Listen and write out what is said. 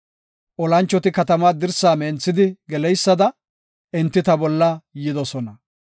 Olanchoti katama dirsaa menthidi geleysada, enti ta bolla yidosona.